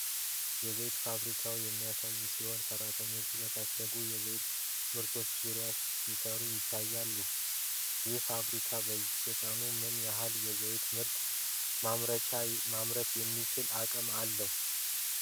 የዘይት ፋብሪካን የሚያሳይ ሲሆን፣ ሰራተኞች በታሸጉ የዘይት ምርቶች ዙሪያ ሲሰሩ ይታያሉ። ይህ ፋብሪካ በየቀኑ ምን ያህል የዘይት ምርት ማምረት የሚችል አቅም አለው?